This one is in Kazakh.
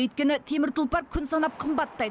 өйткені темір тұлпар күн санап қымбаттайды